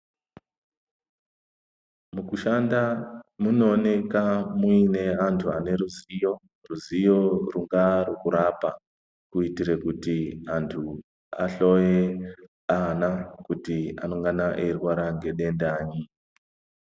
Mukushanda munooneka muine antu ane ruzivo ruzivo rwakaa rwekurapa. Kuitire kuti antu ahloye ana kuti anongana eirwara ngedendanyi.